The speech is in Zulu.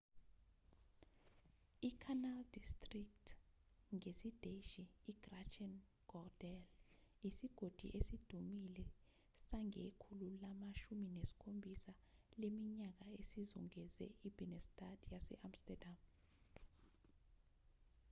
icanal district ngesidashi: grachtengordel isigodi esidumile sangekhulu lama-17 leminyaka esizungeze ibinnestad yase-amsterdam